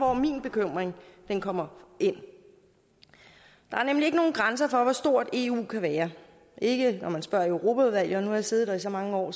hvor min bekymring kommer ind der er nemlig ikke nogen grænser for hvor stort eu kan være ikke når man spørger europaudvalget og nu har jeg siddet der i så mange år